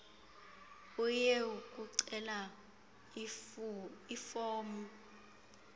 uye kucela ifomu